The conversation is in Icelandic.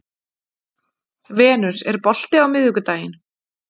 Venus, er bolti á miðvikudaginn?